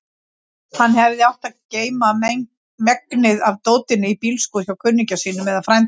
Hann hefði átt að geyma megnið af dótinu í bílskúr hjá kunningja sínum eða frænda.